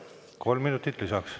Kolm minutit lisaks.